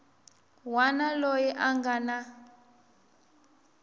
wana loyi a nga na